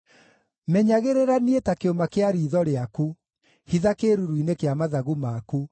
Menyagĩrĩra niĩ ta kĩũma kĩa riitho rĩaku; hitha kĩĩruru-inĩ kĩa mathagu maku